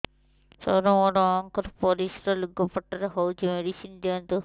ସାର ମୋର ମାଆଙ୍କର ପରିସ୍ରା ଲୁଗାପଟା ରେ ହଉଚି ମେଡିସିନ ଦିଅନ୍ତୁ